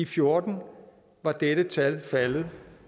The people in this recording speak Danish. fjorten var dette tal faldet